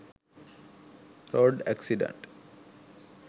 road accident